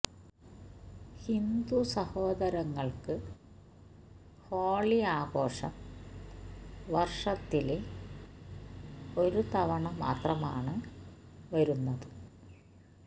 ഹിന്ദു സഹോദരങ്ങള്ക്ക് ഹോളി ആഘോഷം വര്ഷത്തില് ഒരു തവണ മാത്രമാണ് വരുന്നത്